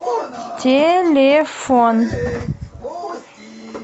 телефон